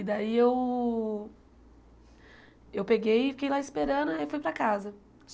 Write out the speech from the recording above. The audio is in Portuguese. E daí eu... Eu peguei e fiquei lá esperando, aí fui para casa.